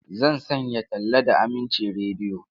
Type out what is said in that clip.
Zan sanya talla da Aminci Rediyo.